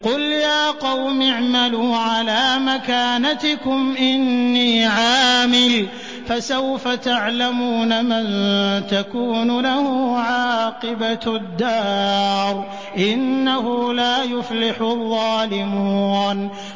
قُلْ يَا قَوْمِ اعْمَلُوا عَلَىٰ مَكَانَتِكُمْ إِنِّي عَامِلٌ ۖ فَسَوْفَ تَعْلَمُونَ مَن تَكُونُ لَهُ عَاقِبَةُ الدَّارِ ۗ إِنَّهُ لَا يُفْلِحُ الظَّالِمُونَ